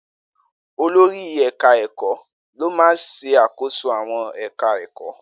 Olori eka-eko lo maa ń ṣàkóso àwọn ẹ̀ka èkó.